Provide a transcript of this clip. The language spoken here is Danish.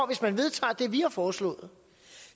hvis man vedtager det vi har foreslået